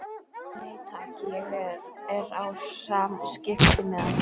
Nei takk, ég er á skiptimiða.